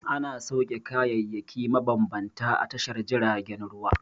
Ana sauke kayayyaki mabambanta a tashar jiragen ruwa.